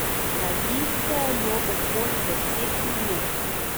Hladite jo okoli deset minut.